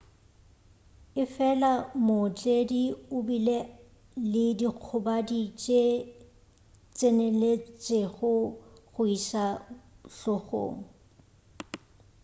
efela mootledi o bile le dikgobadi tše tseneletšego go iša hlogong